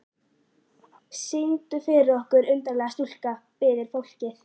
Syngdu fyrir okkur undarlega stúlka, biður fólkið.